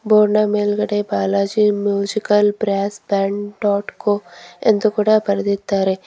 ಬೋರ್ಡ್ನ ಮೇಲ್ಗಡೆ Balaji musical brass band dot co ಎಂದು ಕೂಡ ಬರೆದಿದ್ದಾರೆ.